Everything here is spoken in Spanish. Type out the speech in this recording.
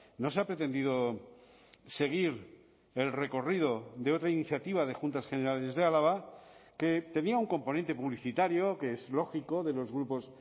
no se ha pretendido seguir el recorrido de otra iniciativa de juntas generales de álava que tenía un componente publicitario que es lógico de los grupos